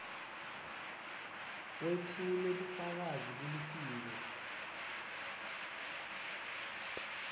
wetfule bufakazi kulitiko